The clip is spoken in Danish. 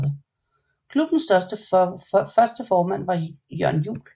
Klubbens første formand var Jørn Juel